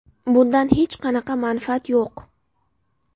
Bundan hech qanaqa manfaat yo‘q.